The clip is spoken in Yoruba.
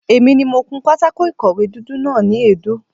Èmi ni mo kun pátákó ìkọ̀wé dúdú náà ni èédú.